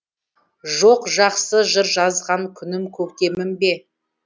жоқ жақсы жыр жазған күнім көктемім бе